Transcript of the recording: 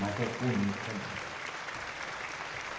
Mas é bonita. É mansa